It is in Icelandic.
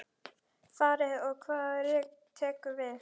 Farið og hvað tekur við?